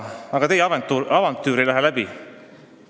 Aga teie avantüür ei lähe läbi.